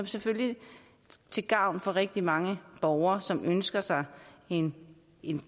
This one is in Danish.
selvfølgelig til gavn for rigtig mange borgere som ønsker sig en